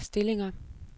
stillinger